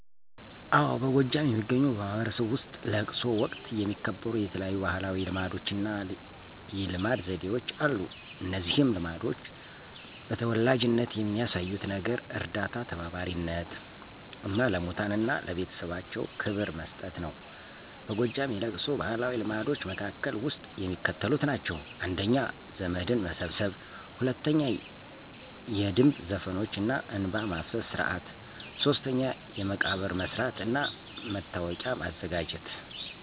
አዎ በጎጃም የሚገኙ በማህበረሰቡ ውስጥ ለቅሶ ወቀት የሚከበሩ የተለያዩ ባህላዊ ልማዶችና የልማድ ዘዴዎች አሉ። እነዚህ ልማዶች በተወላጅነት የሚያሳዩት ነገር እርዳታ ተባባሪነት፣ እና ለሙታን እና ለቤተሰባቸው ክብር መስጠት ነው። በጎጃም የለቅሶ ባህላዊ ልማዶች መካከል ውስጥ የሚከተሉት ናቸው:። 1. ዘመድን መሰብሰብ 2. የድምብ ዘፈኖች እና እንባ ማፍሰስ ስርዓት 3. የመቃብር መሥራት እና መታወቂያ ማዘጋጀት